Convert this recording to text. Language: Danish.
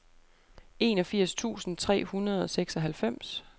enogfirs tusind tre hundrede og seksoghalvfems